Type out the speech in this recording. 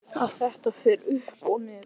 Að þetta fer upp og niður?